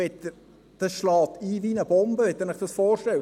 Das schlägt ein wie eine Bombe, wenn Sie sich das vorstellen.